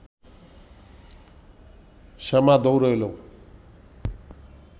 শ্যামা দৌড়ে এলো